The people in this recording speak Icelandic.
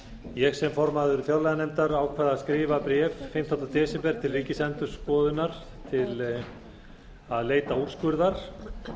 ég sem formaður fjárlaganefndar ákvað að skrifa bréf fimmtánda desember til ríkisendurskoðunar til að leita úrskurðar